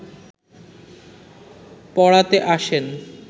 পড়াতে আসেন